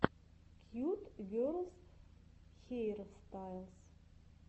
кьют герлс хейрстайлс